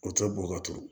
O tɛ bɔn ka turu